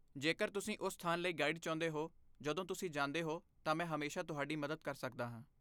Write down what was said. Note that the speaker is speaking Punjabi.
ਜੇਕਰ ਤੁਸੀਂ ਉਸ ਸਥਾਨ ਲਈ ਗਾਈਡ ਚਾਹੁੰਦੇ ਹੋ ਜਦੋਂ ਤੁਸੀਂ ਜਾਂਦੇ ਹੋ, ਤਾਂ ਮੈਂ ਹਮੇਸ਼ਾ ਤੁਹਾਡੀ ਮਦਦ ਕਰ ਸਕਦਾ ਹਾਂ।